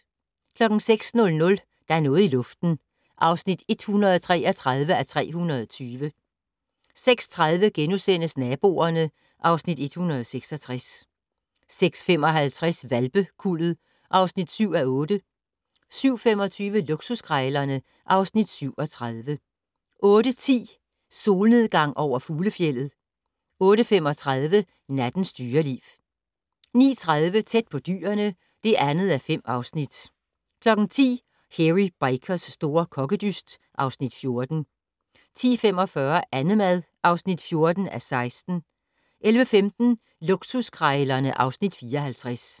06:00: Der er noget i luften (133:320) 06:30: Naboerne (Afs. 166)* 06:55: Hvalpekuldet (7:8) 07:25: Luksuskrejlerne (Afs. 37) 08:10: Solnedgang over fuglefjeldet 08:35: Nattens dyreliv 09:30: Tæt på dyrene (2:5) 10:00: Hairy Bikers' store kokkedyst (Afs. 14) 10:45: Annemad (14:16) 11:15: Luksuskrejlerne (Afs. 54)